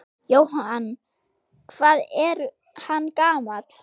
Jóhann: Hvað er hann gamall?